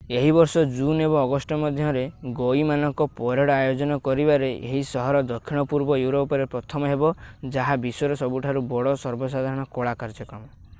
ଏହି ବର୍ଷ ଜୁନ୍ ଏବଂ ଅଗଷ୍ଟ ମଧ୍ୟରେ ଗଈ ମାନଙ୍କ ପରେଡ୍ ଆୟୋଜନ କରିବାରେ ଏହି ସହର ଦକ୍ଷିଣ-ପୂର୍ବ ୟୁରୋପରେ ପ୍ରଥମ ହେବ ଯାହା ବିଶ୍ୱର ସବୁଠାରୁ ବଡ଼ ସର୍ବସାଧାରଣ କଳା କାର୍ଯ୍ୟକ୍ରମ